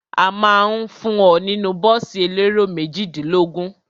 A ma ń fún ọ nínú bọ́ọ̀sì elérò méjìdínlógún.